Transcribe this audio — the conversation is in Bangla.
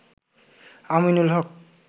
আমিনুল হক